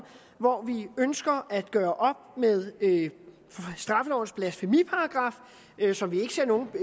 hvor vi ønsker at gøre op med straffelovens blasfemiparagraf som vi